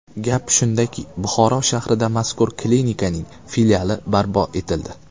Gap shundaki, Buxoro shahrida mazkur klinikaning filiali barpo etildi.